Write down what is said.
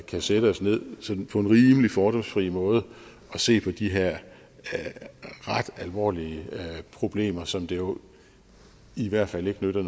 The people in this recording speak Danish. kan sætte os ned på en rimelig fordomsfri måde og se på de her ret alvorlige problemer som det jo i hvert fald ikke nytter